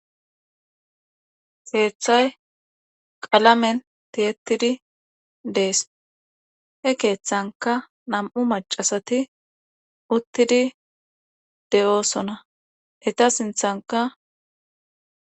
Keethay qalamen tiyettididi dees he keethankka nam7u maccasati uttidi de7oosona eta sinthankka.